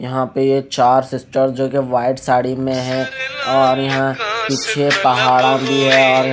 यहा पे ये चार सिस्टर जो की वाइट साडी में है और यहा निचे भी है और--